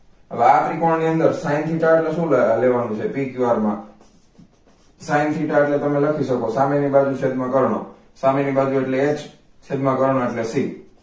હવે આ ત્રીકોણ ની અંદર sine theta એટલે શું લેવા નુ છે pqr મા sine theta એટલે તમે લખી સકો સામેની બાજથી છેદમાં કર્ણ સામેની બાજુ એટલે h છેદ માં કર્ણ એટલે c